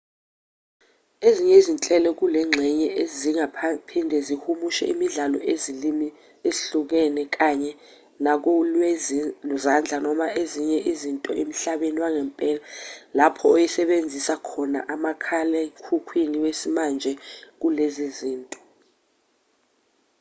ezinye izinhlelo kulengxenye zingaphinde zihumushe imibhalo ezilimini ezihlukahlukene kanye nakolwezandla noma ezinye izinto emhlabeni wangempela lapho oyisebenzisayo ekhomba umakhalekhukhwini wesimanje kulezo zinto